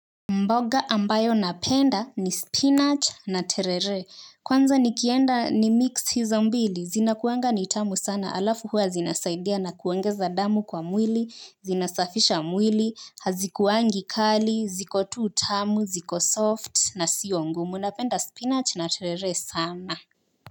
Mboga ambayo napenda ni spinach na terere kwanza nikienda nimix hizo mbili zinakuanga ni tamu sana alafu huwa zinasaidia na kuongeza damu kwa mwili zinasafisha mwili hazikuwangi kali ziko tu tamu ziko soft na sio ngumu napenda spinach na terere sana.